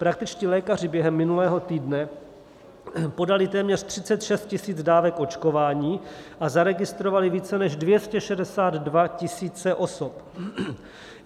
Praktičtí lékaři během minulého týdne podali téměř 36 000 dávek očkování a zaregistrovali více než 262 000 osob.